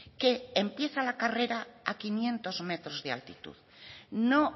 que empieza la carrera a quinientos metros de altitud no